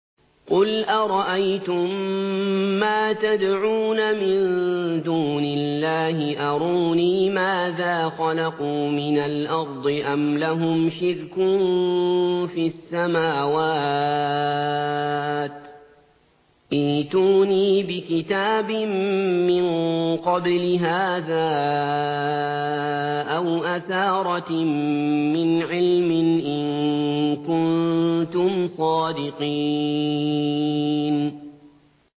قُلْ أَرَأَيْتُم مَّا تَدْعُونَ مِن دُونِ اللَّهِ أَرُونِي مَاذَا خَلَقُوا مِنَ الْأَرْضِ أَمْ لَهُمْ شِرْكٌ فِي السَّمَاوَاتِ ۖ ائْتُونِي بِكِتَابٍ مِّن قَبْلِ هَٰذَا أَوْ أَثَارَةٍ مِّنْ عِلْمٍ إِن كُنتُمْ صَادِقِينَ